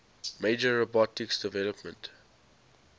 major robotics developments